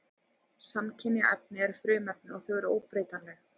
Samkynja efni eru frumefni og þau eru óbreytanleg.